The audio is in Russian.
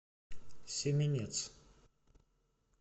семенец